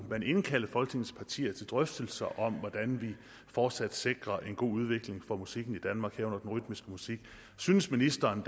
at indkalde folketingets partier til drøftelser om hvordan vi fortsat sikrer en god udvikling for musikken i danmark herunder den rytmiske musik synes ministeren